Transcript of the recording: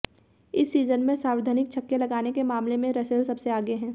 इस सीजन में सर्वाधिक छक्के लगाने के मामले में रसेल सबसे आगे हैं